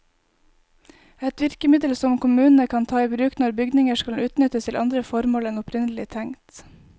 Et virkemiddel som kommunene kan ta i bruk når bygninger skal utnyttes til andre formål enn opprinnelig tenkt.